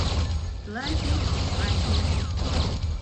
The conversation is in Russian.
тлакепаке